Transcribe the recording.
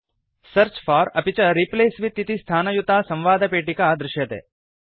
search for अपि च replace with इति स्थानयुता संवादपेटिका दृश्यते